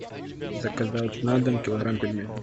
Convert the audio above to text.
заказать на дом килограмм пельменей